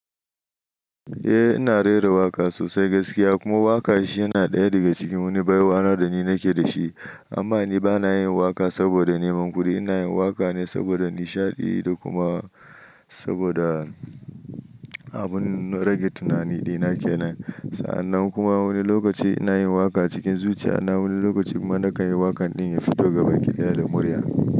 Eh ina rera waƙa sosai gaskiya. Kuma waƙa shi yana ɗaya daga cikin wani baiwa na da ni nake da shi. Amma ni ba na yin waƙa saboda neman kuɗi, ina yin waƙa ne saboda nishaɗi da kuma saboda abun rage tunani ɗina ke nan. Sa'annan kuma wani lokaci ina yin waƙa cikin zuciya, na wani lokaci kuma na kan yi waƙan ɗin ya fito gabaki daya da murya.